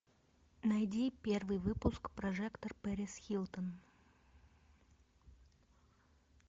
найди первый выпуск прожекторперисхилтон